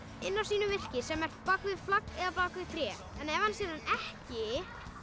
inn á sínu virki sem er bak við flagg eða bak við tré en ef hann sér hann ekki